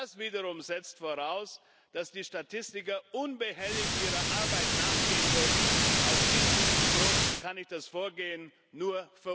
Das wiederum setzt voraus, dass die Statistiker unbehelligt ihrer Arbeit nachgehen dürfen. Aus diesem Grund kann ich das Vorgehen nur